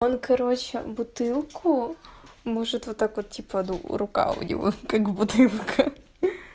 он короче бутылку может вот так вот типа рука у него как-будто рука